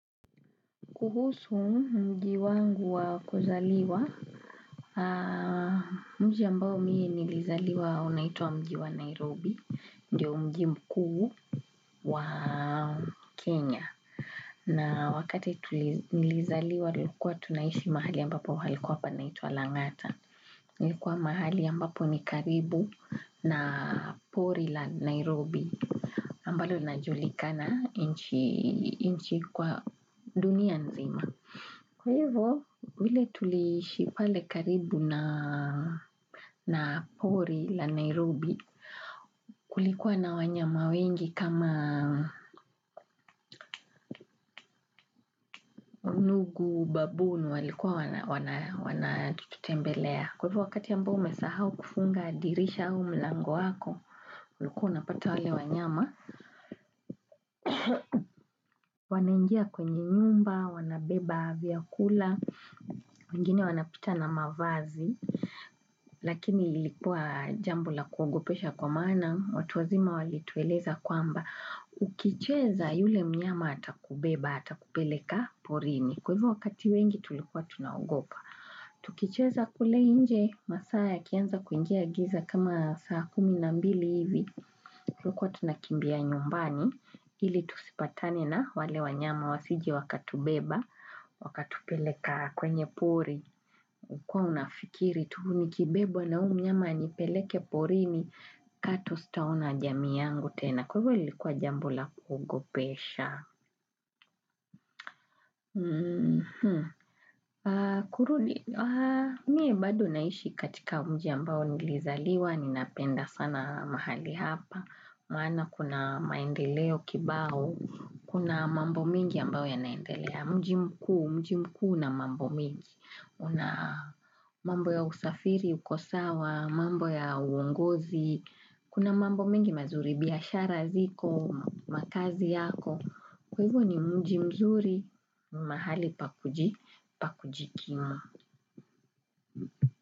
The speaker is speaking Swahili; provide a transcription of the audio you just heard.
Kuhusu mji wangu wa kuzaliwa, mji ambao mie nilizaliwa unaitwa mji wa Nairobi, ndio mji mkuu wa Kenya. Na wakati nilizaliwa tulikuwa tunaishi mahali ambapo palikuwa panaitwa Lang'ata. Nilikuwa mahali ambapo ni karibu na pori la Nairobi ambalo linajulikana nchi kwa dunia nzima. Kwa hivyo, vile tuliishi pale karibu na pori la Nairobi kulikuwa na wanyama wengi kama nugu baboon walikuwa wana tutembelea. Kwa hivyo, wakati ambao umesahau kufunga dirisha au mlango wako, ulikuwa unapata wale wanyama. Wanaingia kwenye nyumba, wanabeba vyakula, wengine wanapita na mavazi. Lakini ilikuwa jambo la kuogopesha kwa maana, watu wazima walitueleza kwamba, ukicheza yule mnyama atakubeba, atakupeleka porini. Kwa hivo wakati wengi tulikuwa tunaogopa. Tukicheza kule nje, masaa ya kianza kuingia giza kama saa kumi na mbili hivi, tulikuwa tunakimbia nyumbani. Hili tusipatane na wale wanyama wasije wakatubeba, wakatupeleka kwenye pori, ulikuwa unafikiri, tu nikibebwa na huu mnyama anipeleke porini kato sitaona jamii yangu tena. Kwa ivo lilikuwa jambo la kuogopesha. Mie bado naishi katika mji ambao nilizaliwa, ninapenda sana mahali hapa, maana kuna maendeleo kibao, kuna mambo mingi ambao ya naendelea, mji mkuu, mji mkuu una mambo mengi, una mambo ya usafiri, ukosawa, mambo ya uongozi, kuna mambo mengi mazuri biashara ziko, makazi yako. Kwa hivo ni mji mzuri ni mahali pakujikimu.